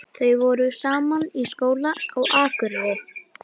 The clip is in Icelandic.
Þau voru saman í skóla á Akureyri.